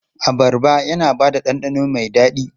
Abarba yana ba da ɗanɗano mai daɗi.